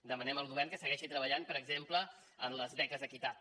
demanem al govern que segueixi treballant per exemple en les beques equitat